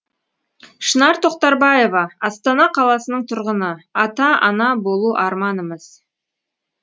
шынар тоқтарбаева астана қаласының тұрғыны ата ана болу арманымыз